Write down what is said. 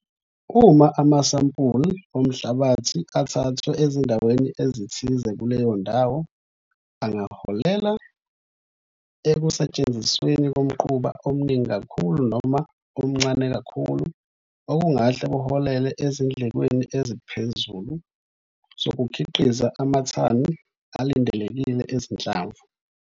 Uma amasampuli omhlabathi athathwe ezindaweni ezithize kuleyo ndawo, angaholela ekusetshenzisweni komquba omningi kakhulu noma omncane kakhulu okungahle kuholele ezindlekweni eziphezulu zokukhiqiza amathani alindelekile ezinhlamvu.